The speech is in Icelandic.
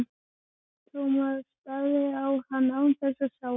Thomas starði á hann án þess að sjá hann.